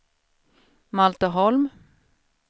Malte Holm